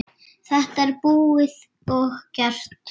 Þetta er búið og gert.